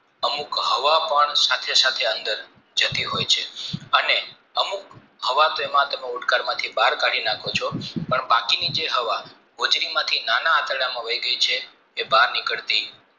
અમુક હવા પણ સાથે સાથે અંદર જતી હોય છે અને અમુક હવા તેમાં ઓડકારમાંથી બાહ્ય કાઢી નાખો છો પણ બાકીની જે હવા હોજરીમાંથી જે નાના આંતરડામાં અહીં ગે છે તે બહાર નીકરતી નથી